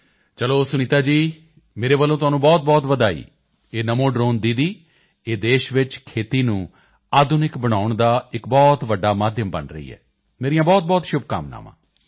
ਚਲੋ ਸੁਨੀਤਾ ਜੀ ਮੇਰੇ ਵੱਲੋਂ ਤੁਹਾਨੂੰ ਬਹੁਤਬਹੁਤ ਵਧਾਈ ਇਹ ਨਮੋ ਡ੍ਰੋਨ ਦੀਦੀ ਇਹ ਦੇਸ਼ ਵਿੱਚ ਖੇਤੀ ਨੂੰ ਆਧੁਨਿਕ ਬਣਾਉਣ ਦਾ ਇੱਕ ਬਹੁਤ ਵੱਡਾ ਮਾਧਿਅਮ ਬਣ ਰਹੀ ਹੈ ਮੇਰੀਆਂ ਬਹੁਤਬਹੁਤ ਸ਼ੁਭਕਾਮਨਾਵਾਂ